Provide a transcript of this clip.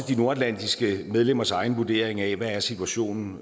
de nordatlantiske medlemmers egen vurdering af hvad situationen